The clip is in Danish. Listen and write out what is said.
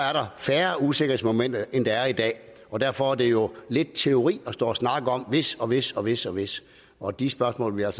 er der færre usikkerhedsmomenter end der er i dag og derfor er det jo lidt teori at stå og snakke om hvis og hvis og hvis og hvis og de spørgsmål vil jeg